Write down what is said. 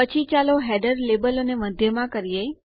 પછી ચાલો હેડર લેબલોને મધ્યમાં કરીએ